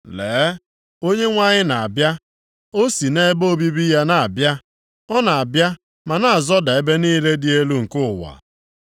Lee! Onyenwe anyị na-abịa! O si nʼebe obibi ya na-abịa. Ọ na-abịa ma na-azọda ebe niile dị elu nke ụwa.